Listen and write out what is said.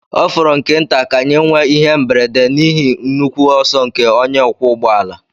Ọ fọrọ nke nta ka anyị nwee ihe mberede n'ihi nnukwu ọsọ nke onye ọkwọ ụgbọ ala.